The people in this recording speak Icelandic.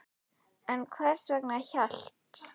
En hvers vegna hélt